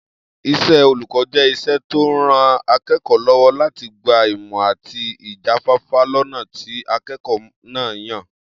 Is̩é̩ olùkó̩ jé̩ is̩é̩ tó ń ran aké̩kò̩ó̩ ló̩wó̩ láti gba ìmò̩ àti ìjáfáfá lọ́nà tí aké̩kò̩ó̩ náà yàn